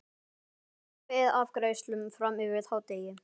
Esja beið afgreiðslu fram yfir hádegi.